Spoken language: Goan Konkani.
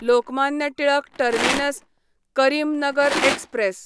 Lokmanya Tilak terminus Karimnagar express